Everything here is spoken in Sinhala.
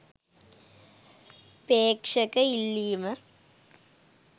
ප්‍රේක්ෂක ඉල්ලීම.